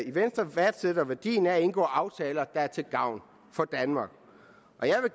i venstre værdsætter værdien af at indgå aftaler der er til gavn for danmark